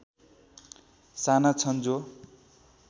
साना छन् जो